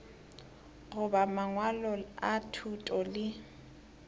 goba mangwalo a thuto le